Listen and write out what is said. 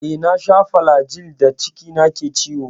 Eh, na sha flajil da cikina ke ciwo.